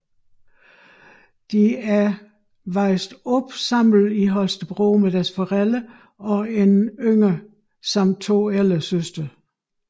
De er opvokset i Holstebro sammen med deres forældre og en yngre samt to ældre søstre